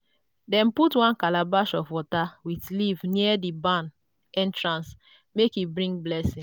dem put one calabash of water with leaf near di barn entrance make e bring blessing.